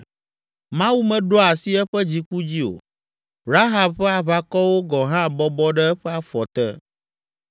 Mawu meɖoa asi eƒe dziku dzi o, Rahab ƒe aʋakɔwo gɔ̃ hã bɔbɔ ɖe eƒe afɔ te.